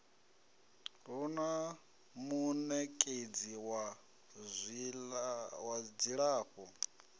hu na munekedzi wa dzilafho